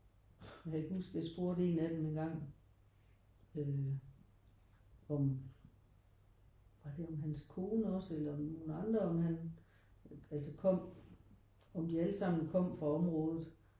Og jeg kan huske jeg spurgte en af dem engang øh om var det om hans kone også eller nogen andre om han altså kom om de alle sammen kom fra området?